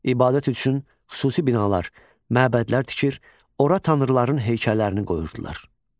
İbadət üçün xüsusi binalar, məbədlər tikir, ora tanrıların heykəllərini qoyurdular.